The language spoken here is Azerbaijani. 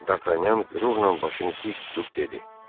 Dartanyan qürurla başını dik tutub dedi: